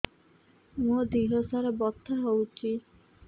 ମୋ ଦିହସାରା ବଥା ହଉଚି